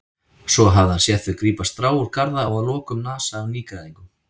Svo hafði hann séð þau grípa strá úr garða og að lokum nasa af nýgræðingnum.